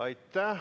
Aitäh!